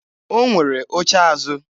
O nwere oche azụ.